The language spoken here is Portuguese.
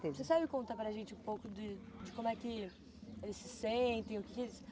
Você sabe contar para gente um pouco de como é que eles se sentem?